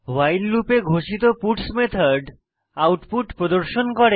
ভাইল লুপে ঘোষিত puts method output প্রদর্শন করে